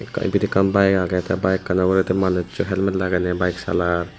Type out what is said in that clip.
ibet ekkan bike aagay tay bikekanow uguray tey manusso helmet lagenay bike salar.